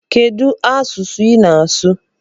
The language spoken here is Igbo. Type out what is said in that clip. Kedụ asụsụ I na-asụ?